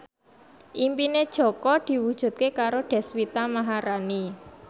impine Jaka diwujudke karo Deswita Maharani